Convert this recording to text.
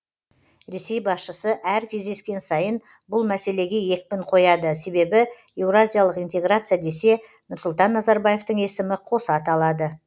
ресей басшысы әр кездескен сайын бұл мәселеге екпін қояды себебі еуразиялық интеграция десе нұрсұлтан назарбаевтың есімі қоса аталады